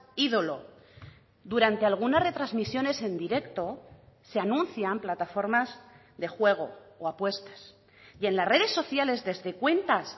ídolo durante algunas retransmisiones en directo se anuncian plataformas de juego o apuestas y en las redes sociales desde cuentas